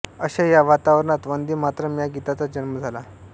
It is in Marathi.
अशा या वातावरणात वंदे मातरम् या गीताचा जन्म झाला